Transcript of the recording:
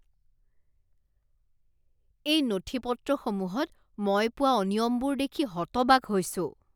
এই নথিপত্ৰসমূহত মই পোৱা অনিয়মবোৰ দেখি হতবাক হৈছোঁ।